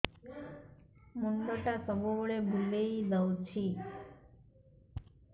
ମୁଣ୍ଡଟା ସବୁବେଳେ ବୁଲେଇ ଦଉଛି